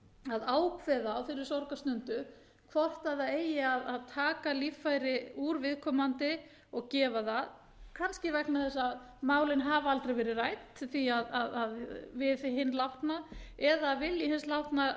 að ákveða á þeirri sorgarstundu hvort það eigi að taka líffæri úr viðkomandi og gefa það kannski vegna þess að málin hafa aldrei verið rædd við hinn látna eða vilji hins látna